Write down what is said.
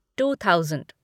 to thousand